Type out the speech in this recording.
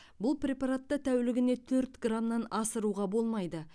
бұл препаратты тәулігіне төрт грамман асыруға болмайды